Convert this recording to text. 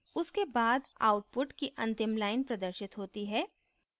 उसके बाद output की अंतिम line प्रदर्शित होती है